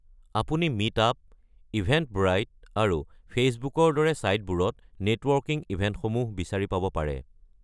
আপুনি Meetup, Eventbrite, আৰু ফে'চবুকৰ দৰে ছাইটতবোৰত নেটৱৰ্কিং ইভেন্টসমূহ বিচাৰি পাব পাৰে।